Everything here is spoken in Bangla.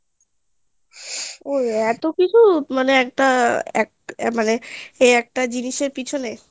ওই এত কিছু মানে একটা মানে এই একটা জিনিসের পিছনে